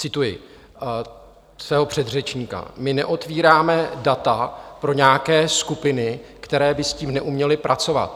Cituji svého předřečníka: "My neotvíráme data pro nějaké skupiny, které by s tím neuměly pracovat."